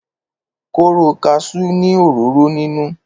kóró kaṣú ni òróró ninu